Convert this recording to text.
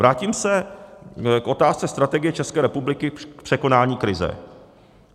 Vrátím se k otázce strategie České republiky k překonání krize.